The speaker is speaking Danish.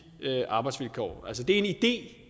arbejdsvilkår det